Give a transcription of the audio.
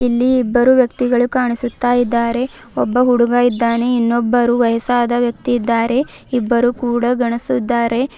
ಇಲ್ಲಿ ಇಬ್ಬರು ವ್ಯಕ್ತಿಗಳು ಕಾಣಿಸುತ್ತಾ ಇದ್ದಾರೆ ಒಬ್ಬ ಹುಡುಗ ಇದ್ದಾನೆ ಇನ್ನೊಬ್ಬರು ವಯಸ್ಸಾದ ವ್ಯಕ್ತಿ ಇದ್ದಾರೆ ಇಬ್ಬರೂ ಕೂಡ ಗಂಡ್ಸ ಇದ್ದಾರೆ.